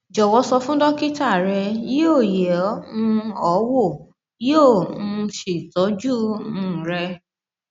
jọwọ sọ fún dókítà rẹ yóò yẹ um ọ wò yóò um sì tọjú um rẹ